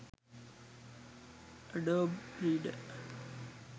adobe reader